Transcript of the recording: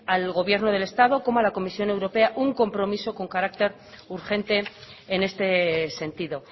al gobierno del estado como a la comisión europea un compromiso con carácter urgente en este sentido